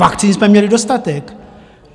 Vakcín jsme měli dostatek.